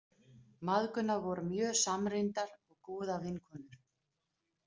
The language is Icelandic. Mæðgurnar voru mjög samrýndar og góðar vinkonur.